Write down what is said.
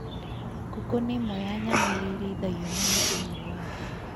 Ngũkũ nĩ ĩmwe ya nyamũ iria irĩithagio mũno thĩinĩ wa thĩ.